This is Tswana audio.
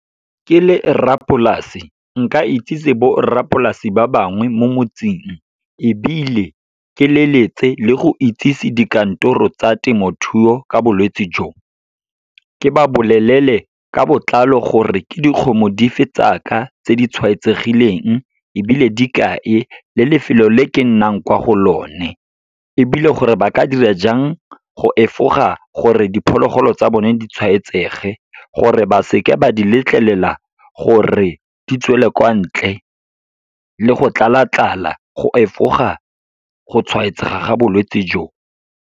Ke le rrapolase, nka itsise borrapolase ba bangwe mo motseng, ebile ke leletse le go itsisi dikantoro tsa temothuo ka bolwetsi jo. Ke ba bolelele ka botlalo gore ke dikgomo di fe tsaka tse di tshwaetsegileng, ebile di kae, le lefelo le ke nnang kwa go lone. Ebile gore ba ka dira jang, go efoga gore diphologolo tsa bone di tshwaetsege, gore ba seka ba di letlelela gore di tswele kwa ntle, le go tlala-tlala go efoga go tshwaetsega ga bolwetsi jo.